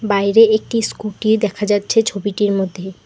বাইরে একটি স্কুটি দেখা যাচ্ছে ছবিটির মধ্যে।